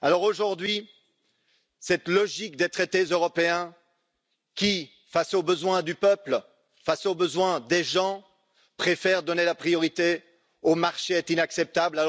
Aujourd'hui, cette logique des traités européens qui, face aux besoins du peuple, face aux besoins des gens, préfère donner la priorité aux marchés, est inacceptable.